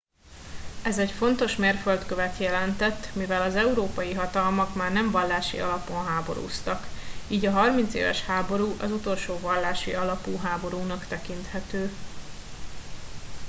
ez egy fontos mérföldkövet jelentett mivel az európai hatalmak már nem vallási alapon háborúztak így a harmincéves háború az utolsó vallási alapú háborúnak tekinthető